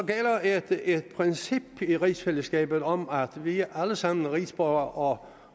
gælder et princip i rigsfællesskabet om at vi alle sammen er rigsborgere